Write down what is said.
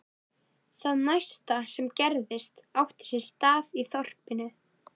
Það næsta sem gerðist átti sér stað í þorpinu.